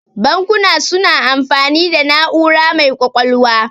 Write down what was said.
Bankuna suna amfani da na'ura mai ƙwaƙwalwa.